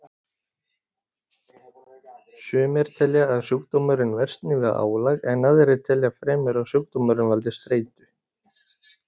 Sumir telja að sjúkdómurinn versni við álag en aðrir telja fremur að sjúkdómurinn valdi streitu.